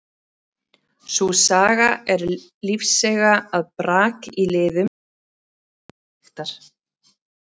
Sú saga er lífseiga að brak í liðum geti leitt til liðagigtar.